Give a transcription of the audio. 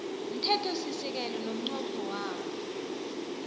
mthethosisekelo nomnqopho wawo